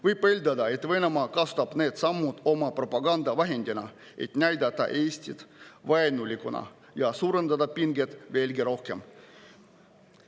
Võib eeldada, et Venemaa kasutab neid samme oma propagandavahendina, et näidata Eestit vaenulikuna ja suurendada pingeid veelgi rohkem.